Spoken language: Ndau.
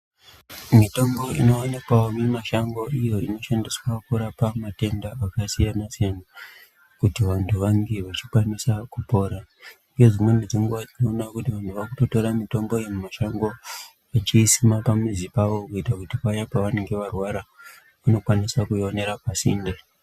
Mitombo inoonekwawo mumashango iyo inoshandiswa kurapa matenda akasiyanasiyana kuti vantu vange vechikwanise kupora ngedzimweni dzenguwa tinoona kuti munhu waakutotore mitombo iyi mumashango echiisima pamizi pawo kuita kuti paye pavanonga varwara vanokwanisa kuionera pasinde.